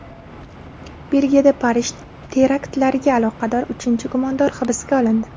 Belgiyada Parij teraktlariga aloqador uchinchi gumondor hibsga olindi.